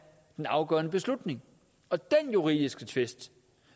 den afgørende beslutning og den juridiske tvist